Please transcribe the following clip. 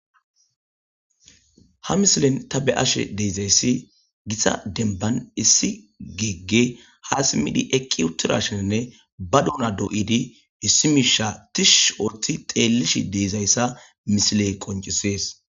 Ha misilen ta beyashe dizayis gita dembban issi geegey issi bessan tishshi oothidi xeelles dizayisa misileyi qoncises.